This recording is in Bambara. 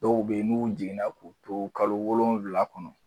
Dɔw bɛ ye n'u jiginna k'u to kalo wolonwula kɔnɔ.